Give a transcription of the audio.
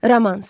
Romans.